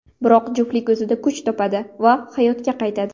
Biroq juftlik o‘zida kuch topadi va hayotga qaytadi.